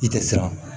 I tɛ siran